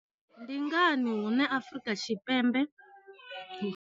Ndi ngani hune Afrika Tshipembe.